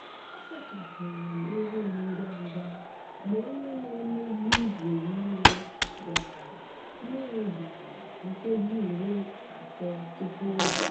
a sachapụrụ m ihu m ngwa ngwa mgbe onye na-emezi igwe mmiri bịara mmiri bịara nkeji iri atọ tupu oge